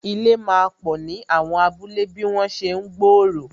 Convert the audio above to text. Ilé máa pò ni àwọn abúlé bí wọn ṣe ń gbòòrò